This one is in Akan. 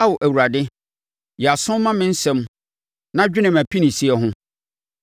Ao Awurade, yɛ aso ma me nsɛm na dwene mʼapinisie ho.